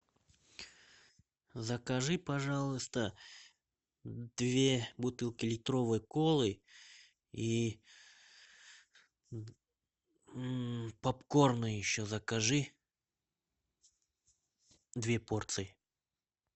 закажи пожалуйста две бутылки литровой колы и попкорна еще закажи две порции